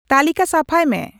ᱛᱟᱞᱤᱠᱟ ᱥᱟᱯᱷᱟᱭ ᱢᱮ